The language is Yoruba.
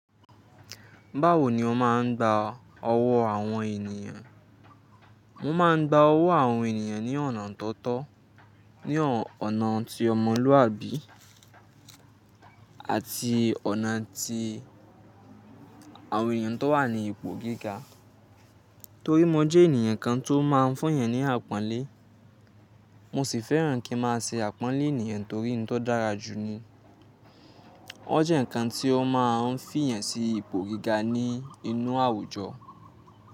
Báwo ni o máa ń gba ọwọ́ àwọn ènìyàn? Mo máa ń gba ọwọ́ àwọn ènìyàn ní ọ̀nà tó tọ́, ní ọ̀nà tí ọmọlúàbí, àti ọ̀nà tí àwọn ènìyàn tó wà ní ipò gíga. Torí mo jẹ́ ènìyàn kan tó máa ń fún èèyàn ní àpọ́nlé, mo sì fẹ́ràn kí n máa ṣe àpọ́nlé ènìyàn torí n to dára jù ni. Ó jẹ́ ǹkan tí ó máa ń fiyan sí ipò gíga ní inú àwùjọ.